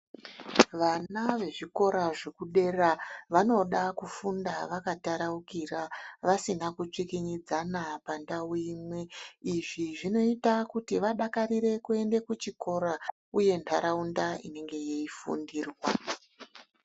Vana vezvikora zvekudera vanoda kufunda vakataraukira vasina kutsvikinyidzana pandau imwe izvi zvinoita kuti vadakarire kuende kuchikora uye ntaraunda inenge yeifundirwa.